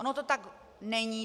Ono to tak není.